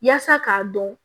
Yaasa k'a dɔn